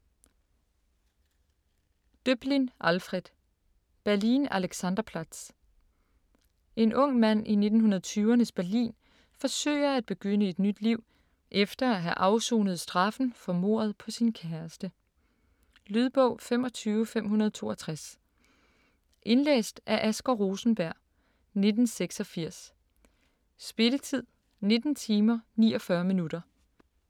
Döblin, Alfred: Berlin Alexanderplatz En ung mand i 1920'ernes Berlin forsøger at begynde et nyt liv efter at have afsonet straffen for mordet på sin kæreste. Lydbog 25562 Indlæst af Asger Rosenberg, 1986. Spilletid: 19 timer, 49 minutter.